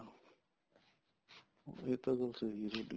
ਇਹ ਤਾਂ ਗੱਲ ਸਹੀ ਹੈ ਤੁਹਾਡੀ